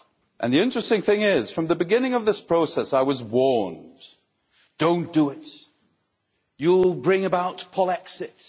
And the interesting thing is that, from the beginning of this process, I was warned Don't do it, you'll bring about Polexit'